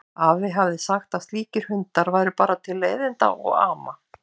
Afi hafði sagt að slíkir hundar væru bara til leiðinda og ama.